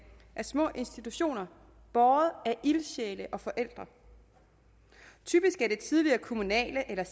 er små institutioner båret af ildsjæle og forældre typisk er det tidligere kommunale eller